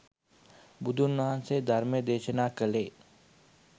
බුදුන් වහන්සේ ධර්මය දේශනා කළේ